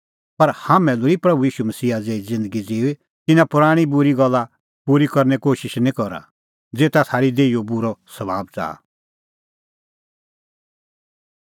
पर हाम्हैं लोल़ी प्रभू ईशू मसीहा ज़ेही ज़िन्दगी ज़िऊई तिन्नां पराणीं बूरी गल्ला पूरी करने कोशिश निं करा ज़ेता थारी देहीओ बूरअ सभाब च़ाहा